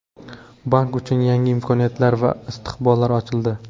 Bank uchun yangi imkoniyatlar va istiqbollar ochildi.